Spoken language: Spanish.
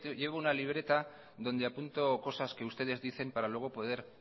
llevo una libreta donde apunto cosas que ustedes dicen para luego poder